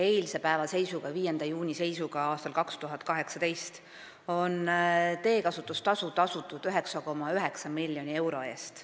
Eilse päeva seisuga, st 5. juuni seisuga aastal 2018 on teekasutuse eest tasutud 9,9 miljonit eurot.